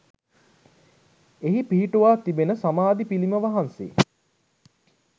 එහි පිහිටුවා තිබෙන සමාධි පිළිම වහණ්සේ